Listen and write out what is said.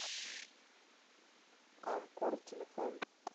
камкор телефон